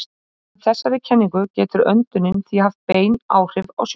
Samkvæmt þessari kenningu getur öndunin því haft bein áhrif á sjónina.